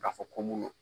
K'a fɔ ko mun don